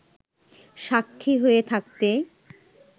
স্বাক্ষী হয়ে থাকতে